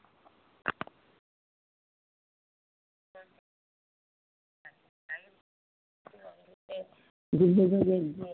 বিসর্জন হইলো।